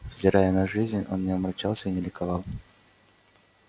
взирая на жизнь он не омрачался и не ликовал